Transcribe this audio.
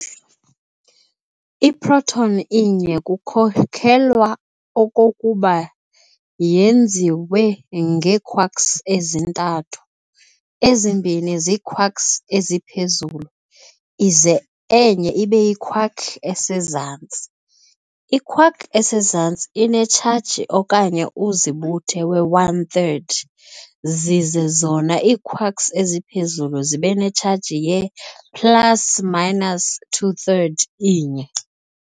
I-proton inye kukholelwa okokuba yenziwe ngee-quarks ezintathu, ezimbini ziiquarks-eziphezulu ize enye ibeyi-quark esezantsi. i-quark esezantsi inetshaji okanye uzibuthe we-one third, zize zona ii-quarks eziphezulu zibenetshaji ye-plus minus two third inye.